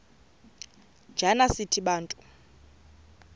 njana sithi bantu